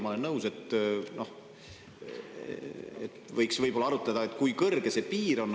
Ma olen nõus, et võiks arutleda selle üle, kui kõrge see piir peaks olema.